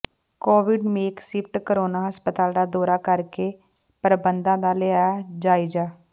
Covid makeshift corona ਹਸਪਤਾਲ ਦਾ ਦੌਰਾ ਕਰਕੇ ਪ੍ਰਬੰਧਾਂ ਦਾ ਲਿਆ ਜਾਇਜ਼ਾ